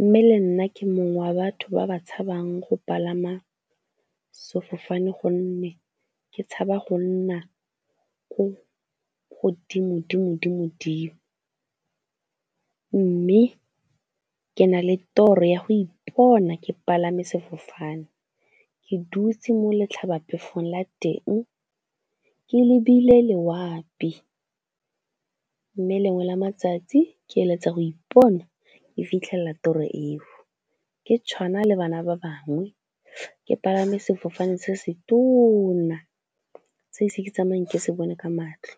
mme le nna ke mongwe wa batho ba ba tshabang go palama sefofane gonne ke tshaba go nna ko godimodimo-dimo-dimo, mme ke na le toro ya go ipona ke palame sefofane ke dutse mo letlhabaphefong la teng, ke lebile loapi mme lengwe la matsatsi ke eletsa go ipona e fitlhelela tiro eo, ke tshwana le bana ba bangwe, ke palame sefofane se se tona se ise ke tsamaye ke se bone ka matlho.